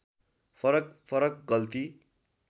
फरक फरक गल्ती